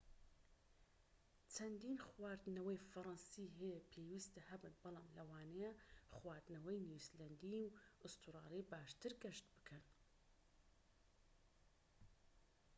چەندین خواردنەوەی فەڕەنسی هەیە پێویستە هەبن بەڵام لەوانەیە خواردنەوەی نیوزیلەندی و ئوسترالی باشتر گەشت بکەن